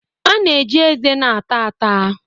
A na-eji eze na-ata ata